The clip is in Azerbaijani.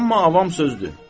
Amma avam sözdür.